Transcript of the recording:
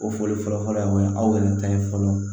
O fɔli fɔlɔ fɔlɔ fɔlɔ ye mun ye aw yɛrɛ ta ye fɔlɔ